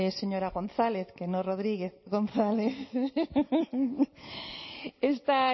señora gonzález que no rodríguez gonzález esta